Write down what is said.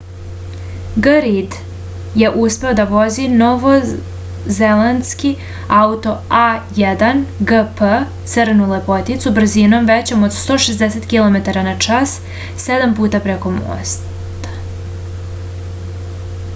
g rid je uspeo da vozi novozelandski auto a1gp crnu lepoticu brzinom većom od 160 km/h sedam puta preko mosta